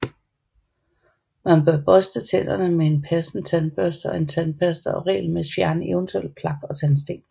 Man bør børste tænderne med en passende tandbørste og tandpasta og regelmæssigt fjerne eventuelt plak og tandsten